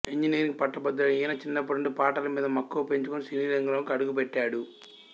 engineering పట్టభద్రుడైనా ఈయన చిన్నప్పటి నుండి పాటల మీద మక్కువ పెంచుకొని సినీరంగంలోకి అడుగుపెట్టాడు